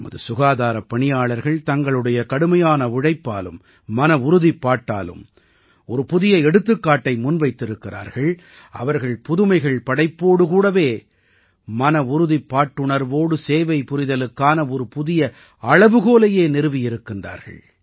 நமது சுகாதாரப் பணியாளர்கள் தங்களுடைய கடுமையான உழைப்பாலும் மனவுறுதிப்பாட்டாலும் ஒரு புதிய எடுத்துக்காட்டை முன்வைத்திருக்கிறார்கள் அவர்கள் புதுமைகள் படைப்போடு கூடவே மன உறுதிப்பாட்டுணர்வோடு சேவை புரிதலுக்கான ஒரு புதிய அளவுகோலையே நிறுவி இருக்கிறார்கள்